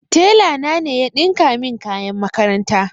Tela na ne ya ɗinka min kayan makaranta